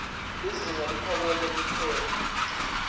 lizinga leliphakeme liphepha